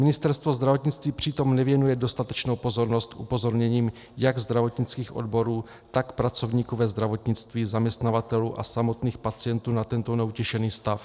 Ministerstvo zdravotnictví přitom nevěnuje dostatečnou pozornost upozorněním jak zdravotnických odborů, tak pracovníků ve zdravotnictví, zaměstnavatelů a samotných pacientů na tento neutěšený stav.